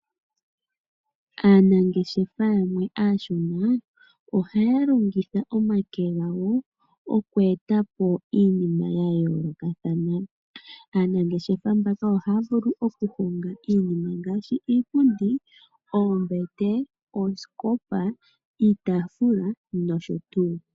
Aanangeshefa yamwe aashona ohaya longitha omake gawo oku eta po iinima yayoolokathana. Aanangeshefa mbaka ohaya vulu okuhonga iinima ngaashi iipundi, oombete, oosikopa, iitaafula nosho tuu.